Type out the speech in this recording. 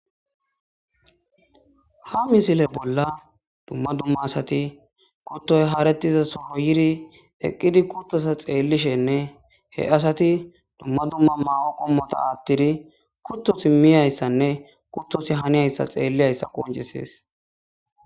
Ha misile bolla dumma dumma asati kuttoy haaretiza soro yiri eqqidi kuttosa xeellishenne he asati dumma dumma maa7o qommota aattidi kuttosi miyayssanne kuttosi haniyayssa xeelliyayssa qoncisees